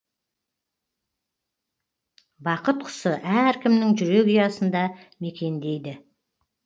бақыт құсы әркімнің жүрек ұясында мекендейді